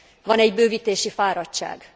Van egy bővítési fáradtság.